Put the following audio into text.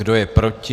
Kdo je proti?